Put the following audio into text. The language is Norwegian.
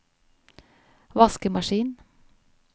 vaskemaskin